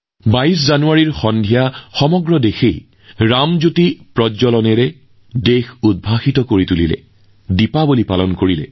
২২ জানুৱাৰীৰ সন্ধিয়া সমগ্ৰ দেশে ৰামজ্যোতি জ্বলাই দীপাৱলী উদযাপন কৰে